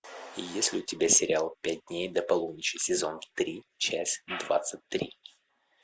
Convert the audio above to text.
есть ли у тебя сериал пять дней до полуночи сезон три часть двадцать три